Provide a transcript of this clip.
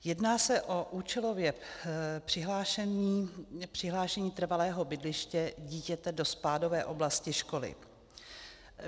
Jedná se o účelové přihlášení trvalého bydliště dítěte do spádové oblasti školy.